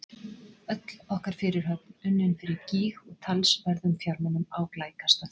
Öll okkar fyrirhöfn unnin fyrir gýg og talsverðum fjármunum á glæ kastað.